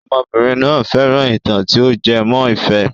Ọmọbìnrin náà fẹ́ràn ìtàn tí o jẹ mọ́ ìfẹ́.